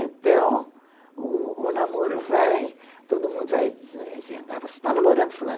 Então, o namoro vai, todo mundo vai dizendo, você está namorando fulano?